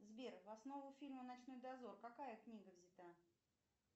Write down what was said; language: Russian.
сбер в основу фильма ночной дозор какая книга взята